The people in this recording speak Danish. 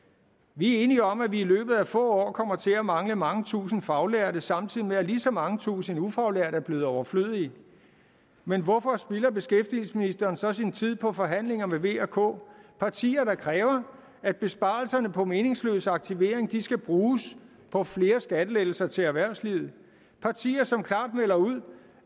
vi er enige om at vi i løbet af få år kommer til at mangle mange tusinde faglærte samtidig med at lige så mange tusinde ufaglærte er blevet overflødige men hvorfor spilder beskæftigelsesministeren så sin tid på forhandlinger med v og k partier der kræver at besparelserne på meningsløs aktivering skal bruges på flere skattelettelser til erhvervslivet partier som klart melder ud